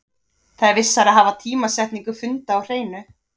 Það er vissara að hafa tímasetningu funda á hreinu.